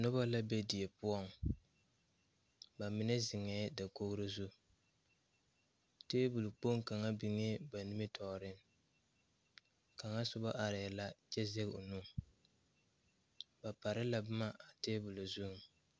Nobɔ la be die poɔŋ ba mine zeŋɛɛ dokogro zu tabole kpoŋ kaŋ biŋee ba nimitooreŋ kaŋa sobɔ arɛɛ la kyɛ zege o nu ba pare la boma a tabole zuŋ.